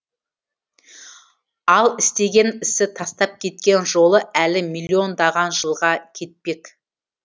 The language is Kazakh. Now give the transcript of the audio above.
ал істеген ісі тастап кеткен жолы әлі миллиондаған жылға кетпек